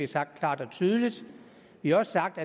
sagt klart og tydeligt vi har også sagt